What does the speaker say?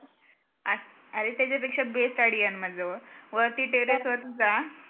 अरे त्याच्यापेक्षा best idea आहे ना माझ्याजवळ वरती terrace वरती जा